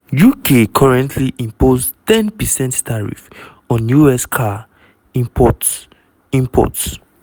uk currently impose ten percent tariff on us car imports. imports.